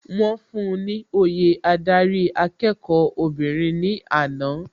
Wọ́n fún un ni òye adarí akẹ́kọ̀ọ́ obìnrin ní àná.